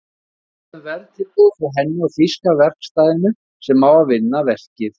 Beðið um verðtilboð frá henni og þýska verkstæðinu sem á að vinna verkið.